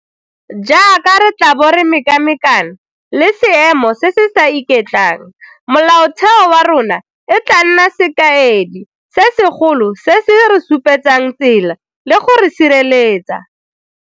Jaaka re tla bo re mekamekana le seemo se se sa iketlang, Molaotheo wa rona e tla nna sekaedi se segolo se se re supetsang tsela le go re sireletsa.